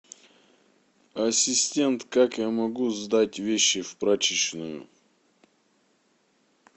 ассистент как я могу сдать вещи в прачечную